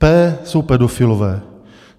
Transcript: P jsou pedofilové.